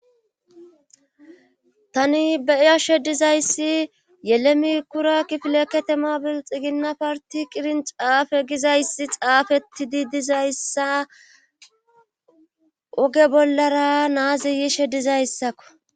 tani be'iyashe dizayssi yelemi kura kifileketemobil xiginna parti qirin caafe gizayssi xaafeti di dizayssa oge bollara naazi yishe dizayssakko